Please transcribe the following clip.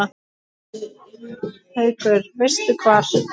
Haukur: Veistu hvar?